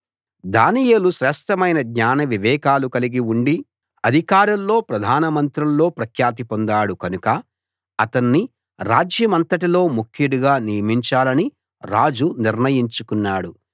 దానియేలు శ్రేష్ఠమైన జ్ఞాన వివేకాలు కలిగి ఉండి అధికారుల్లో ప్రధానమంత్రుల్లో ప్రఖ్యాతి పొందాడు కనుక అతణ్ణి రాజ్యమంతటిలో ముఖ్యుడుగా నియమించాలని రాజు నిర్ణయించుకున్నాడు